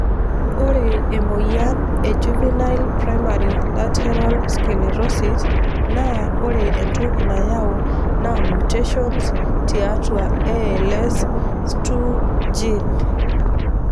Ore emoyian e Juvenile primary lateral sclerosis naa ore entoki nayau naa mutations tiatua ALS2 gene.